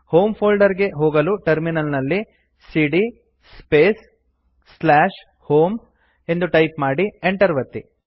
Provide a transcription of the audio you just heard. home folder ಗೆ ಹೋಗಲು terminal ನಲ್ಲಿ ಸಿಡಿಯ ಸ್ಪೇಸ್ ಹೋಮ್ ಎಂದು ಟೈಪ್ ಮಾಡಿ enter ಒತ್ತಿ